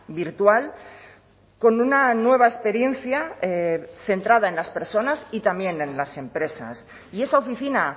virtual con una nueva experiencia centrada en las personas y también en las empresas y esa oficina